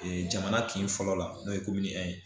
jamana kin fɔlɔ la n'o ye ye